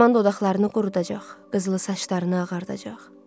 Zaman dodaqlarını qurudacaq, qızılı saçlarını ağardacaq.